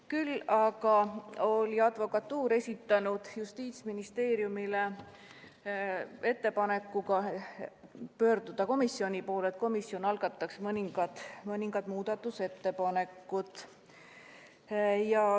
Küll aga oli advokatuur esitanud Justiitsministeeriumile ettepaneku pöörduda komisjoni poole, et komisjon algataks mõningad muudatusettepanekud.